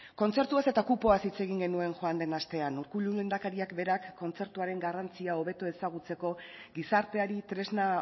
kontzertuaz eta kupoaz hitz egin genuen joan den astean urkullu lehendakariak berak kontzertuaren garrantzia hobeto ezagutzeko gizarteari tresna